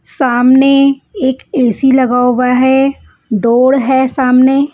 सामने एक ए_सी लगा हुआ है डोण हैं सामने--